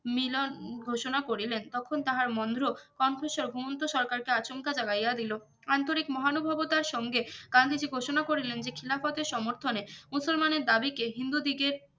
মিলন ঘোষণা করিলেন তখুন তাহার মোন্দ্রো কোন্থোশ ঘুমোন্তো সরকারকে আচমকা জাগাইয়া দিলো আন্তরিক মহানুভবতার সঙ্গে গান্ধীজি ঘোষণা করিলেন যে খিলাফতের সমর্থনে মুসলমানের দাবি কে হিন্দু দিগে